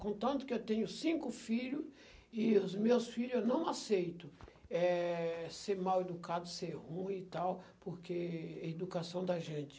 Com tanto que eu tenho cinco filho, e os meus filho eu não aceito, eh, ser mal educado, ser ruim e tal, porque educação da gente.